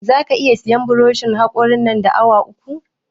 Za ka iya sayan buroshin haƙorin nan da awa uku?